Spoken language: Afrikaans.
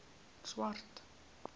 swart